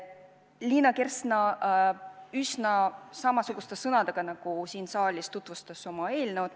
Liina Kersna üsna samasuguste sõnadega nagu siin saalis tutvustas oma eelnõu.